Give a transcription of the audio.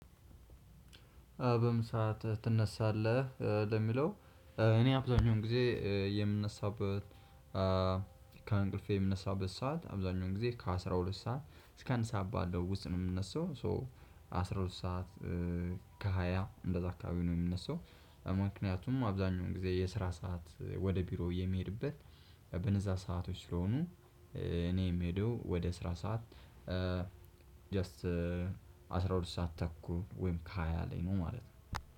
በምን ሰዓት ትነሳለህ? ለሚለው እኔ አብዛኛውን ጊዜ የምነሳበት ከእንቅልፌ የምነሳበት ሰዓት አብዛኛውን ጊዜ ከአስራ ሁለት ሰዓት እስከ አንድ ሰዓት ባለው ውስጥ ነው የምነሳው ሶ አስራ ሁለት ሰዓት ከሃያ እንደዛ አካባቢ ነው የምነሳው ምክንያቱም አብዛኛውን ጊዜ የስራ ሰዓት ወደ ቢሮ የምሄድበት በነዛ ሰአቶች ስለሆኑ እኔ የምሄደው ወደ ስራ ሰዓት ጀስት አስራ ሁለት ሰዓት ተኩል ወይም ከሃያ ላይ ነው ማለት ነው።